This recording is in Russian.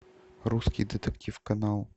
русский детектив канал